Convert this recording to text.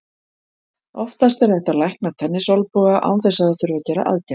Oftast er hægt að lækna tennisolnboga án þess að það þurfi að gera aðgerð.